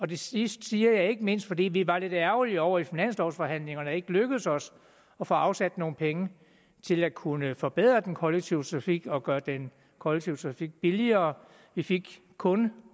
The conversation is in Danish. det sidste siger jeg ikke mindst fordi vi var lidt ærgerlige over i finanslovforhandlingerne ikke lykkedes os at få afsat nogle penge til at kunne forbedre den kollektive trafik og gøre den kollektive trafik billigere vi fik kun